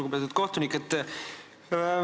Lugupeetud kohtunik!